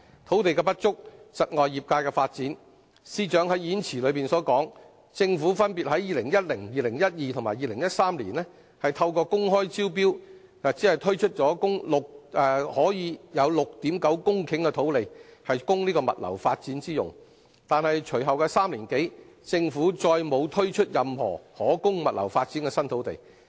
土地的不足，窒礙業界發展，司長在演辭中說，政府分別在2010年、2012年及2013年透過公開招標，只推出了 6.9 公頃土地供物流發展之用。但是，隨後3年多，政府再沒有推出任何可供物流發展的新土地。